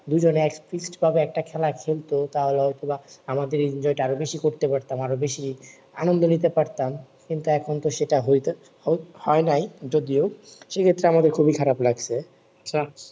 দুই জনে ভাবে খেলা খেলতো তা হলে হয়তো বা আমাদের enjoy টা বেশি করতে পারতাম আরো বেশি আনন্দ নিতে পারতাম কিন্তু এখন তো সেটা হয়তো হ~ হয় নাই যদিও সে ক্ষেত্রে আমাকে খুবি খারাপ লাগছে